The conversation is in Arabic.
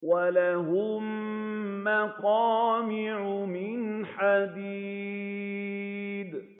وَلَهُم مَّقَامِعُ مِنْ حَدِيدٍ